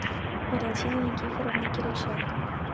валентины никифоровны кириченко